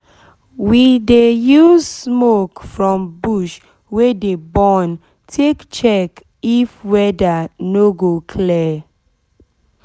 we dey use smoke from bush wey dey burn take check if weather no go clear